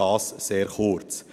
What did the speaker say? dies sehr kurz.